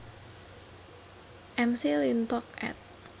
McLintock ed